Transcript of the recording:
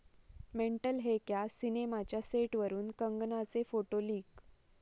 mental है क्या' सिनेमाच्या सेटवरून कंगनाचे फोटो लिक